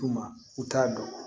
U ma u t'a dɔn